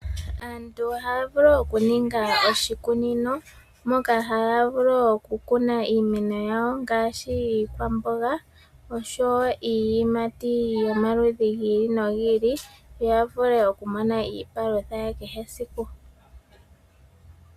Aantu ohaya vulu okuninga oshikunino moka haya vulu okukuna iimeno yawo ngaashi iikwamboga oshowo iiyimati yomaudhi gi ili nogi ili. Ya vule okumona iipalutha ya kehe esiku.